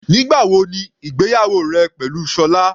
Nígbà wo ni ìgbéyàwó rẹ pẹ̀lú Sola?